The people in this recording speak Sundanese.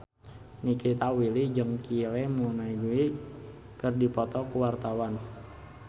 Nikita Willy jeung Kylie Minogue keur dipoto ku wartawan